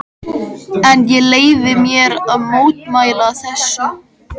En ég leyfi mér að mótmæla þessu.